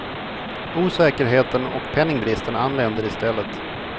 Osäkerheten och penningbristen anländer i stället.